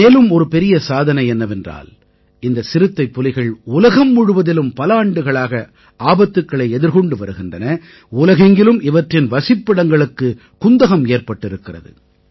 மேலும் ஒரு பெரிய சாதனை என்னவென்றால் இந்த சிறுத்தைப்புலிகள் உலகம் முழுவதிலும் பல ஆண்டுகளாக ஆபத்துக்களை எதிர்கொண்டு வருகின்றன உலகெங்கிலும் இவற்றின் வசிப்பிடங்களுக்குக் குந்தகம் ஏற்பட்டிருக்கிறது